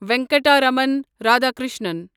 Venkataraman Radhakrishnan